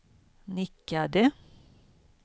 nickade